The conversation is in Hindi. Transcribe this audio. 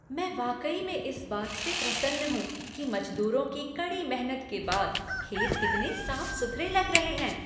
मैं वाकई में इस बात से प्रसन्न हूँ कि मज़दूरों की कड़ी मेहनत के बाद खेत कितने साफ़ सुथरे लग रहे हैं।